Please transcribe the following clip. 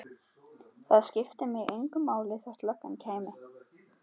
Það skipti mig engu máli þótt löggan kæmi.